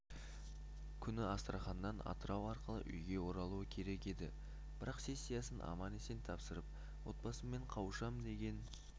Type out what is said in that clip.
күні астраханнан атырау арқылы үйге оралуы керек еді бірақ сессиясын аман-есен тапсырып отбасыммен қауышам деген